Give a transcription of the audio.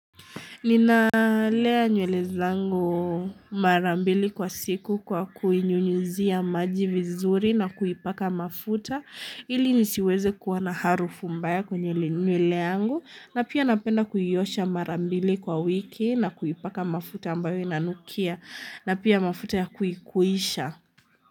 Nina lea nywele zangu marambili kwa siku kwa kuinyunyuzia maji vizuri na kuipaka mafuta ili nisiweze kuwa na harufu mbaya kwenye nywele yangu na pia napenda kuiosha marambili kwa wiki na kuipaka mafuta ambayo inanukia na pia mafuta ya kuikuisha.